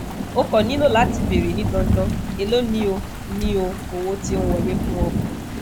o ko nilo lati beere ni dandan elo ni o ni o owo ti on wole fun o